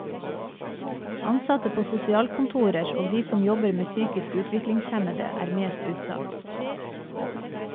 Ansatte på sosialkontorer og de som jobber med psykisk utviklingshemmede er mest utsatt.